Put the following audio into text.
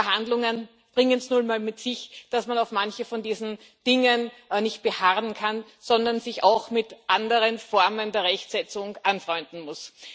Aber Verhandlungen bringen es nun mal mit sich, dass man auf manchen von diesen Dingen nicht beharren kann, sondern sich auch mit anderen Formen der Rechtsetzung anfreunden muss.